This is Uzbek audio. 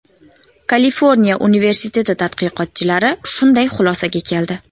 Kaliforniya universiteti tadqiqotchilari shunday xulosaga keldi.